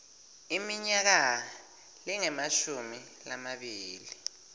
iminyaka lengemashumi lamabili